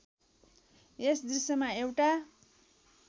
यस दृश्यमा एउटा